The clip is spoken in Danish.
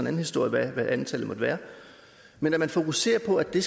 historie hvad antallet måtte være men man fokuserer på at det